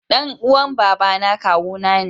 Dan uwan Baba na kawuna ne.